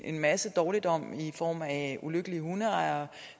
en masse dårligdom i form af ulykkelige hundeejere